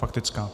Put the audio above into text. Faktická.